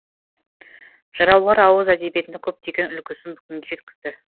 жыраулар ауыз әдебиетінің көптеген үлгісін бүгінге жеткізді